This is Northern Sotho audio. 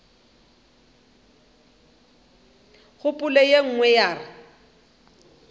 kgopolo ye nngwe ya re